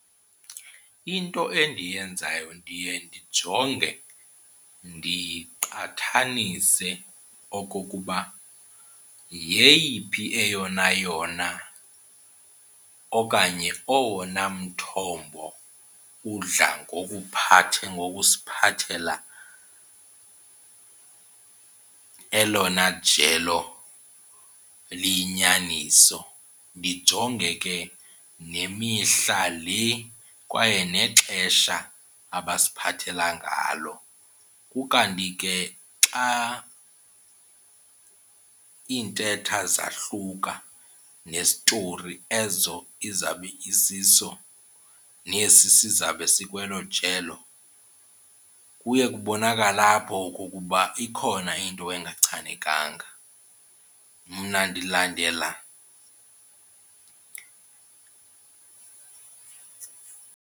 Into endiyenzayo ndiye ndijonge ndiqathanise okokuba yeyiphi eyona yona okanye owona mthombo udla ngokuphatha, ngokusiphathela elona jelo liyinyaniso. Ndijonge ke nemihla le kwaye nexesha abasiphathela ngalo. Ukanti ke xa iintetha zahluka nesitori ezo izawube isiso nesi sizawube sikwelo jelo kuye kubonakale apho okokuba ikhona into engachanekanga. Mna ndilandela.